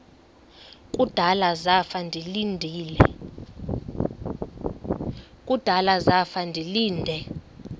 kudala zafa ndilinde